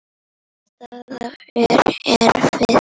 Staðan er erfið.